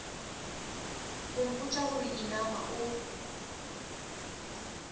go mpotša gore inama o